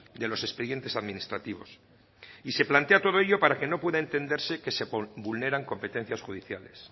de los expedientes administrativos y se plantea todo ello para que no pueda entenderse que se vulneran competencias judiciales